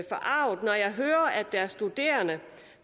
forarget når jeg hører at der er studerende